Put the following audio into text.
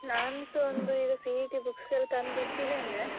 ನಾನ್ಸ ಒಂದು CET books ಎಲ್ಲಾ ತಂದು ಇಟ್ಟಿದ್ದೇನೆ.